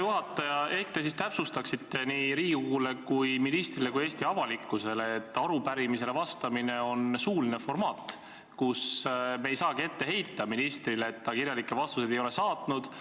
Hea juhataja, ehk te siis täpsustaksite nii Riigikogule, ministrile kui ka Eesti avalikkusele, et arupärimisele vastamine on suuline formaat, mille korral me ei saagi ministrile ette heita, et ta kirjalikke vastuseid ei ole saatnud.